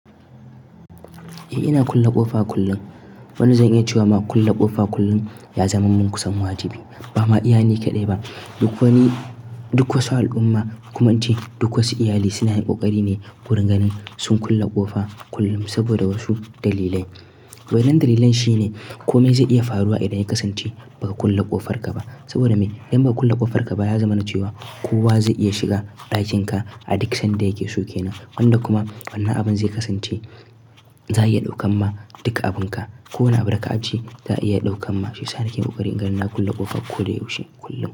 Eh ina kulle ƙofa kullum. Wani zai iya cewa ma kulle ƙofa kullum ya zama mun kusan wajibi, ba ma iya ni kaɗai ba. Duk wani, duk wasu al'umma, kuma an ce duk wasu iyali suna yin ƙoƙari ne wurin ganin sun kulle ƙofa kullum saboda wasu dalilai. Wadan dalilan shi ne kome zai iya faruwa idan ya kasance ba ka kulle ƙofar ka ba. Saboda me? Idan ba ka kulle ƙofar ka ba ya zama na cewa kowa zai iya shiga ɗakin ka a duk sanda yake so ke nan. Wanda kuma wani abin zai kasance za a iya ɗaukan ma duka abin ka. Ko na abu daka ajiye za a iya ɗaukan ma shi. Sararin ƙoƙari in gani na kulle ƙofa ko da yaushe kullum.